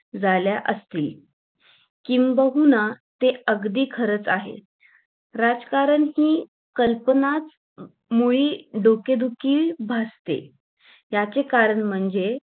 झाल्या असतील किंबहुना ते अगदी खरंच आहे राजकारण ची कल्पनांचं मुळी डोके दुखी भासते याचे कारण म्हणजे.